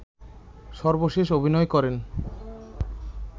সর্বশেষ অভিনয় করেন